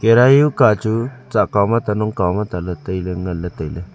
karai huka chu tsakao ma ta nokao ma ta taile ngan le taile.